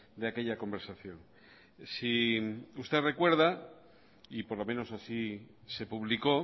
de aquella conversación si usted recuerda y por lo menos así se publicó